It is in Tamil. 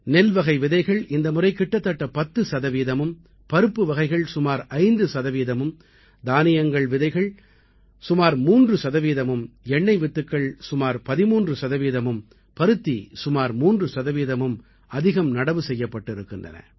நெல்வகை விதைகள் இந்த முறை கிட்டத்தட்ட 10 சதவீதமும் பருப்புவகைகள் சுமார் 5 சதவீதமும் தானியங்கள் விதைகள் சுமார் 3 சதவீதமும் எண்ணெய் வித்துக்கள் சுமார் 13 சதவீதமும் பருத்தி சுமார் 3 சதவீதமும் அதிகம் நடவு செய்யப்பட்டிருக்கின்றன